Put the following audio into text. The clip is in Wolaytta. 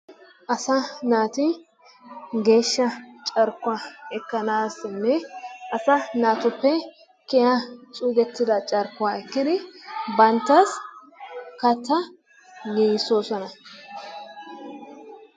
Asaa naati geeshsha carkkuwa ekkanaassinne asaa naatuppe kiyiya xuugettida carkkuwa ekkidi banttas kattaa giigissoosona.